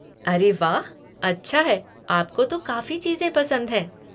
अरे वाह, अच्छा है, आपको तो काफ़ी चीज़ें पसंद हैं।